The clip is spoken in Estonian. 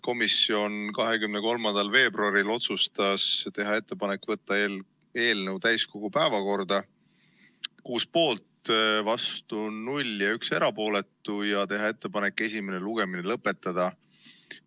Komisjon otsustas 23. veebruaril teha ettepaneku võtta eelnõu tänaseks täiskogu päevakorda ja teha ettepanek esimene lugemine lõpetada .